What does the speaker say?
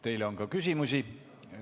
Teile on ka küsimusi.